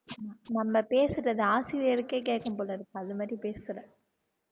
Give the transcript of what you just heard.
நம்ம பேசுறது ஆசிரியருக்கே கேக்கும் போல இருக்கு அது மாதிரி பேசுற